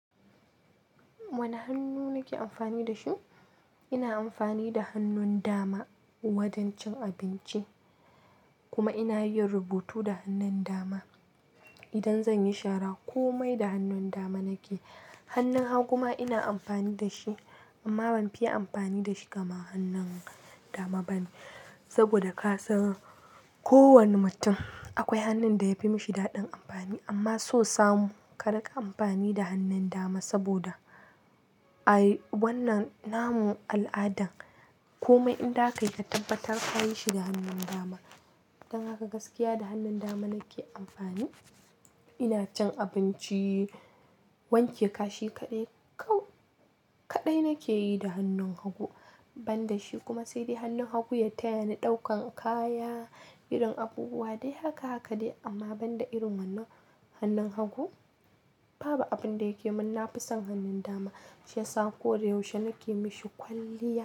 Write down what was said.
Wane hannu nake amfani da shi? Ina amfani da hannun dama wajen cin abinci kuma ina yin rubutu da hannun dama. Idan zan yi shara kome da hannun dama nake. Hannun hagu ma ina amfani da shi amma ban fiye amfani da shi kamar hannun dama bane. Saboda ka san kowane mutum akwai hannun da yafi mashi daɗin amfani. Amma sosamu ka raka amfani da hannun dama saboda a wannan namun al'adan kome inda ka kai ka tabbatar ka yi shi da hannun dama. Dan haka gaskiya da hannun dama nake amfani. Ina cin abinci, wanke kashi kaɗai. Kau, kaɗai nake yi da hannun hagu ban da shi kuma sai dai hannun hagu ya tayani ɗaukan kaya, irin abubuwa dai haka haka dai. Amma ban da irin wannan hannun hagu babu abin da yake mun. Na fi son hannun dama shiyasa koyaushe nake yi mashi kwalliya.